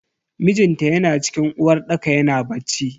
Mijinta yana cikin uwarɗaka yana bacci.